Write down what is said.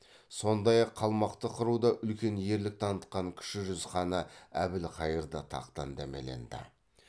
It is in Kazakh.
сондай ақ қалмақты қыруда үлкен ерлік танытқан кіші жүз ханы әбілхайырда тақтан дәмеленді